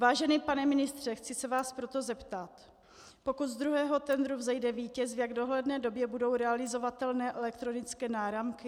Vážený pane ministře, chci se vás proto zeptat: Pokud z druhého tendru vzejde vítěz, v jak dohledné době budou realizovatelné elektronické náramky?